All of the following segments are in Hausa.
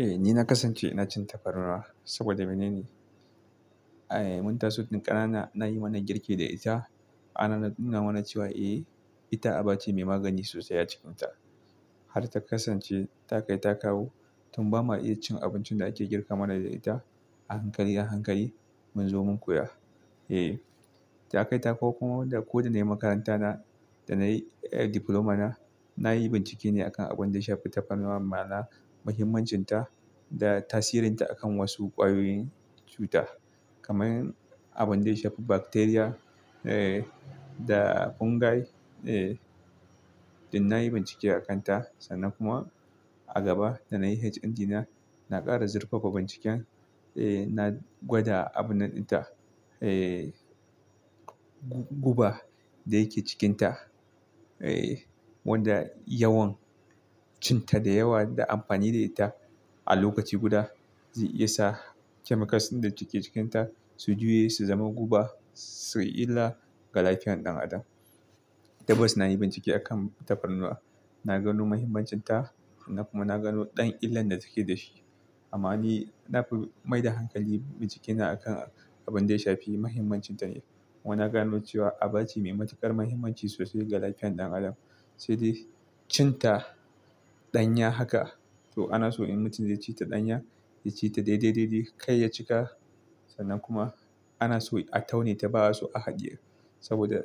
Eh ni na kasance ina cin tafarnuwa saboda mene ne, eh mun taso tun ƙanana nayi mana girki da ita. Ana nuna mana cewa eh ita aba ce mai magani sosai a cikinta har ta kasance ta kai ta kawo tun ba ma iya cin abincin da ake girka mana da ita a hankali, a hankali mun zo mun koya. Eh ta kai ta kawo kuma da ko da na yi makaranta na da na yi eh Diploma na, na yi bincike ne a kan abin da ya shafi taparnuwa, ma'ana mahimmancinta da tasirinta akan wasu ƙwayoyin cuta kamar abin da ya shafi bacteria eh da fungi. Eh din na yi bincike a kan ta sannan kuma a gaba da na yi HND na, na ƙara zurfafa binciken. Eh na gwada abun nan ita, eh guba da yake cikinta. Eh wanda yawan cin ta da yawa da amfani da ita a lokaci guda zai iya sa chemicals ɗin da suke cikinta su juye su zama guba, su yi illa ga lafiyan ɗan adam. Tabbas na yi bincike a kan taparnuwa, na gano mahimmancinta na kuma na gano ɗan illan da take da shi. Amma ni na fi maida hankali bincike na a kan abin da ya shafi mahimmancinta ne. Kuma naga no cewa aba ce mai matuƙar mahimmanci sosai ga lafiyan ɗan adam, sai dai cin ta ɗanya haka. To ana so in mutum zai ci ta ɗanya, ya ci ta dai dai dai dai kai ya cika sannan kuma ana so a taune ta ba a so a haɗiye. Saboda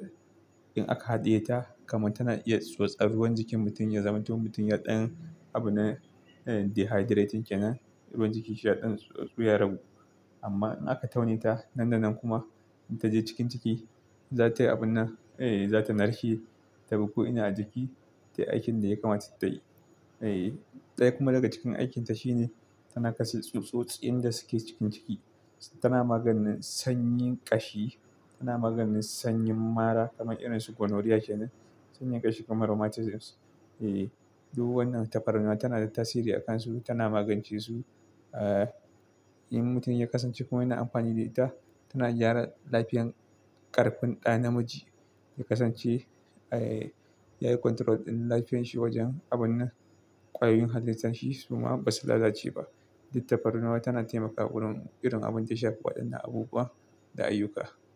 in aka haɗiye ta kamar tana iya tsotsar ruwan jikin mutum, ya zama mutum ya ɗan abu na eh dehydrating kenan. Ruwan jiki shi ya ɗan tsuya ragu. Amma in aka taune ta nan da nan kuma in ta je cikin ciki, za ta yi abun na, eh za ta narshe ta dabi ko'ina a jiki. Tai aikin da ya kamata tayi. Eh ɗaya kuma daga cikin aikinta shine tana kashe tsutsotsin da suke cikin ciki. Tana maganin sanyin ƙashi, tana maganin sanyin mara kamar irin su gonorrhea kenan, sanyin ƙashi kuma rheumatism. Eh duk wannan tafarnuwa tana da tasiri a kansu, tana magance su. Eh in mutum ya kasance kuma yana amfani da ita, tana gyara lafiyan ƙarfin ɗa namiji. Ya kasance, eh ya yi control ɗin lafiyanshi wajen abun na ƙwayoyin halitsashi su ma ba su lalace ba. Duk tafarnuwa tana taimakawa wurin irin abin da ya shafi waɗannan abubuwa da ayyuka.